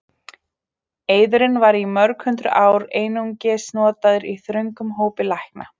Eiðurinn var í mörg hundruð ár einungis notaður í þröngum hópi lækna.